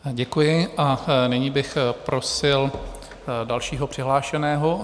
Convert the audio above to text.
Děkuji a nyní bych prosil dalšího přihlášeného.